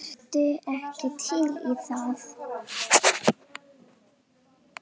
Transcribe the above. Ertu ekki til í það?